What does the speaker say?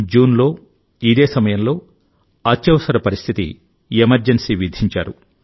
జూన్లో ఇదే సమయంలో అత్యవసర పరిస్థితి ఎమర్జెన్సీ విధించారు